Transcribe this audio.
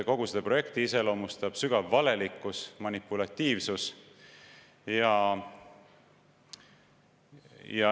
Kogu seda projekti iseloomustab sügav valelikkus ja manipulatiivsus.